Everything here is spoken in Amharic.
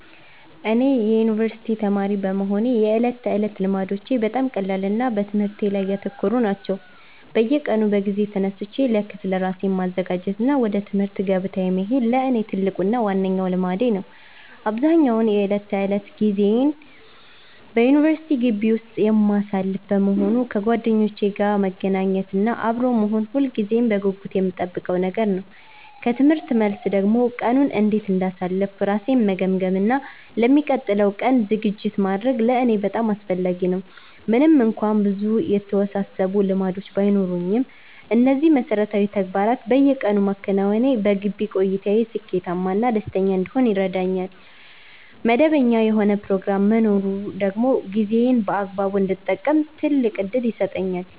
እኔ የዩኒቨርሲቲ ተማሪ በመሆኔ የዕለት ተዕለት ልማዶቼ በጣም ቀላልና በትምህርቴ ላይ ያተኮሩ ናቸው። በየቀኑ በጊዜ ተነስቼ ለክፍል ራሴን ማዘጋጀት እና ወደ ትምህርት ገበታዬ መሄድ ለእኔ ትልቁና ዋነኛው ልማዴ ነው። አብዛኛውን የዕለት ተዕለት ጊዜዬን በዩኒቨርሲቲ ግቢ ውስጥ የማሳልፍ በመሆኑ፣ ከጓደኞቼ ጋር መገናኘት እና አብሮ መሆን ሁልጊዜም በጉጉት የምጠብቀው ነገር ነው። ከትምህርት መልስ ደግሞ ቀኑን እንዴት እንዳሳለፍኩ ራሴን መገምገም እና ለሚቀጥለው ቀን ዝግጅት ማድረግ ለእኔ በጣም አስፈላጊ ነው። ምንም እንኳን ብዙ የተወሳሰቡ ልማዶች ባይኖሩኝም፣ እነዚህን መሠረታዊ ተግባራት በየቀኑ ማከናወኔ በግቢ ቆይታዬ ስኬታማ እና ደስተኛ እንድሆን ይረዳኛል። መደበኛ የሆነ ፕሮግራም መኖሩ ደግሞ ጊዜዬን በአግባቡ እንድጠቀም ትልቅ ዕድል ይሰጠኛል።